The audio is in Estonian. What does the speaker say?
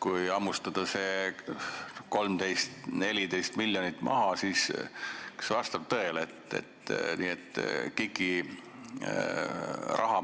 Kui sealt hammustada 13–14 miljonit maha, siis kas vastab tõele, et KIK-i raha,